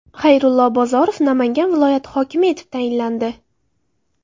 Xayrullo Bozorov Namangan viloyati hokimi etib tayinlandi.